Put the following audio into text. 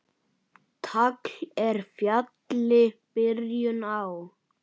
Tagl er fjalli byrjun á.